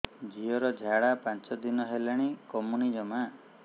ଝିଅର ଝାଡା ପାଞ୍ଚ ଦିନ ହେଲାଣି କମୁନି ଜମା